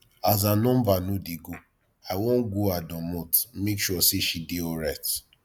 as her number no dey go i wan go her domot make sure sey she dey alright